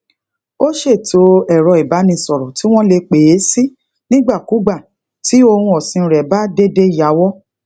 ó seto ero ibanisoro tí wón lè pe e si nigbakugba ti ohun osin re be dede yowo